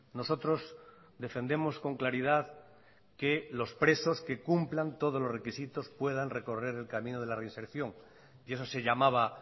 nosotros defendemos con claridad que los presos que cumplan todos los requisitos puedan recorrer el camino de la reinserción y eso se llamaba